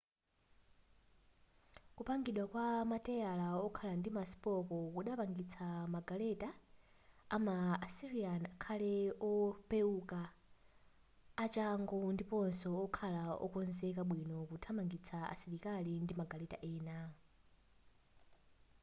kupangidwa kwa mateyala okhala ndi maspoko kudapangitsa magaleta ama asiryan akhale opeouka achangu ndiponso okhala okonzeka bwino kuthamangitsa asilikali ndi magaleta ena